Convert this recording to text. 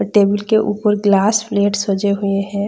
Table के उपर glass plate सजे हुए हैं।